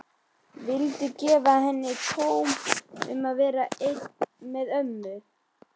Vildi gefa henni tóm til að vera einni með mömmu.